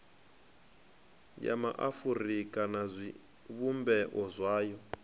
ya maafurika na zwivhumbeo zwayo